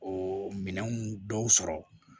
O minɛnw dɔw sɔrɔ